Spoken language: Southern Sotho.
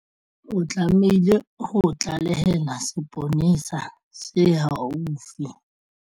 O tlamehile ho tlalehela seponesa se haufi.